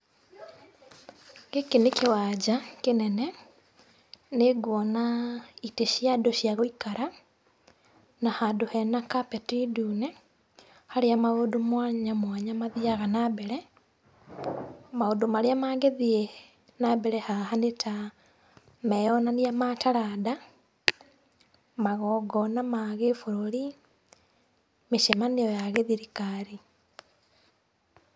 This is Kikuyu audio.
Gĩkĩ nĩ kĩwanja kĩnene, nĩ ngwona itĩ cia andũ cia gũikara na handũ hena carpet ndune harĩa maũndũ mwanya mwanya mathiaga na mbere. Maũndũ marĩa mangĩthiĩ na mbere haha nĩta meyonania ma taranda, magongona ma gĩbũrũri, mĩcemanio ya gĩthirikari.